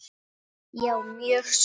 Já, mjög svo.